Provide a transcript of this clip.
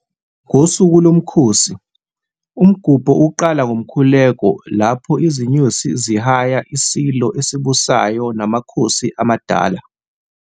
Ngosuku lomkhosi, umgubho uqala ngomkhuleko lapho izinyosi zihaya iSilo esibusayo namakhosi amadala.